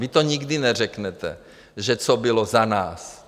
Vy to nikdy neřeknete, že co bylo za nás.